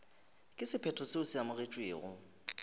ka sephetho seo se amogetšwego